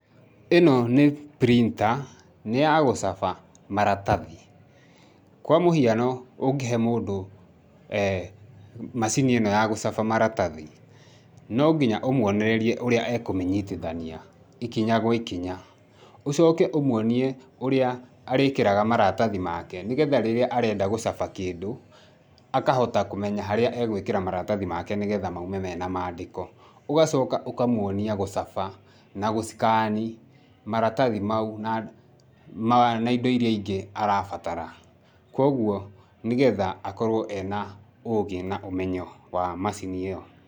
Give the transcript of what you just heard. ĩno nĩ printer, nĩ ya gũcaba maratathi. Kwa mũhiano ũngĩhe mũndũ macini ĩno ya gũcaba maratathi, no nginya ũmwonereria ũrĩa ekũmĩnyitithani ikinya gwa ikinya. Ũcoke ũmwonie ũrĩa arĩĩkĩraga maratathi make nĩgetha rĩrĩa arenda gũcaba kĩndũ akahota kũmenya harĩa egũĩkĩra marathi make, nĩgetha maume mena maandĩko. Ũgacoka ũkamwonia gũcaba, na gũscan maratathi mau na indo iria ingĩ arabatara, kwoguo, nĩgetha akorwo ena ũgĩ na ũmenyo wa macini ĩyo.